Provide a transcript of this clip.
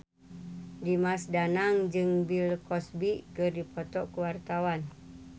Dimas Danang jeung Bill Cosby keur dipoto ku wartawan